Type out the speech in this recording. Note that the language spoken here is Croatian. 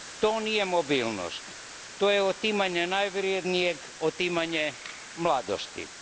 To nije mobilnost, to je otimanje najvrjednijeg, otimanje mladosti.